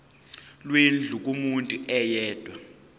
lwendlu kumuntu oyedwa